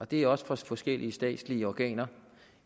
det er også fra forskellige statslige organer